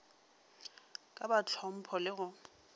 ka ba hlompho le go